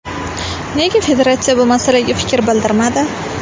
Nega federatsiya bu masalaga fikr bildirmadi?